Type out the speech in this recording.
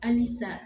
Halisa